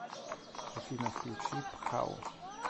афина включи пхау